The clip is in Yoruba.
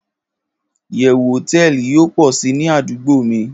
iyewu hoteeli yio po si ni adugbo mi